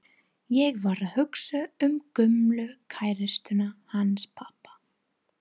Ég var að hugsa um gömlu kærustuna hans pabba.